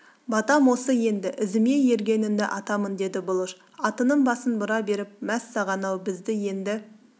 батам осы енді ізіме ергеніңді атамын деді бұлыш атының басын бұра беріп мәссаған ау бізді енді